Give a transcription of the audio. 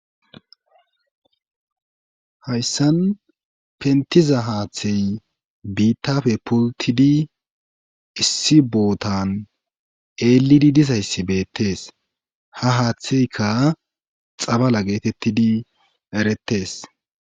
Hayssan pentiza haaththey biittafe pultidi issi bootan eelidi disayssi beettees ha haaththeykka xabala geetettidi erettes